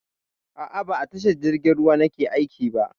A'a, ba a tashar jirgin ruwa nake aiki ba.